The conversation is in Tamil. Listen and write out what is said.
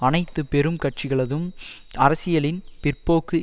அனைத்து பெரும் கட்சிகளதும் அரசியலின் பிற்போக்கு